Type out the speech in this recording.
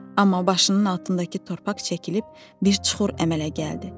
Amma başının altındakı torpaq çəkilib bir çuxur əmələ gəldi.